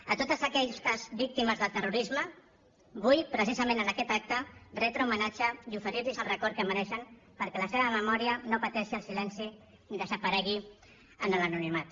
a totes aquestes víctimes del terrorisme vull precisament en aquest acte retre homenatge i oferir los el record que mereixen perquè la seva memòria no pateixi el silenci i desaparegui en l’anonimat